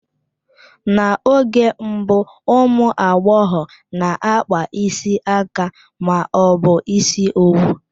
N'oge mbụ, ụmụ agbọghọ n'akpa isi aka ma ọ bụ ịsị owu.